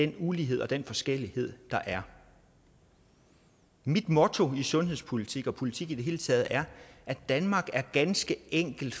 den ulighed og den forskellighed der er mit motto i sundhedspolitik og politik i det hele taget er at danmark ganske enkelt